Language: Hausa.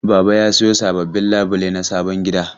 Baba ya sayo sababbin labulai na sabon gida.